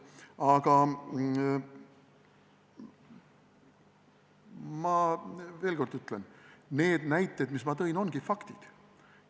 Aga ma ütlen veel kord: need näited, mis ma tõin, ongi faktid.